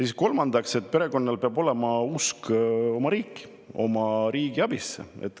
Ja kolmandaks, perekonnal peab olema usk oma riiki, oma riigi abisse.